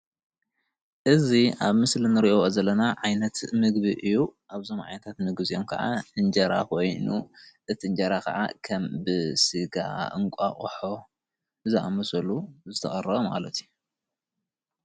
እዚ አብ ምስሊ እንሪኦ ዘለና ዓይነት ምግቢ እዩ አብዚኦም ዓይነታት ምግቢ ከዓ እንጀራ ኮይኑ እቲ እንጀራ ከዓ ከም ብስጋ እንቃቆሖ ዝአመስሉ ዝተቀረበ ማለት እዩ።